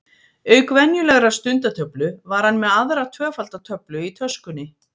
Auk venjulegrar stundatöflu var hann með aðra tvöfalda töflu í töskunni.